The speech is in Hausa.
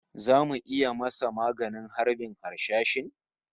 Zamu iya masa maganin harbin harsashin?